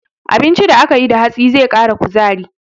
Abincin da aka yi da hatsi zai ƙara kuzari.